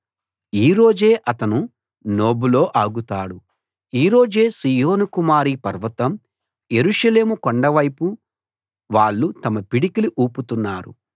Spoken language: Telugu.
ఈ రోజే అతను నోబులో ఆగుతాడు ఈ రోజే సీయోను కుమారి పర్వతం యెరూషలేము కొండవైపు వాళ్ళు తమ పిడికిలి ఊపుతున్నారు